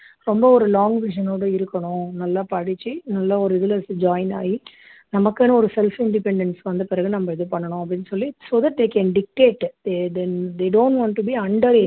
ரொம்ப ஒரு long vision னோட இருக்கணும் நல்ல படிச்சி நல்லா ஒரு இதுல join ஆகி நமக்குன்னு ஒரு self independence வந்த பிறகு நம்ம இது பண்ணணும் அப்படின்னு சொல்லி so that they can dictate they they they don't want to be under